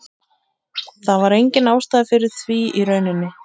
Það var engin ástæða fyrir því í rauninni.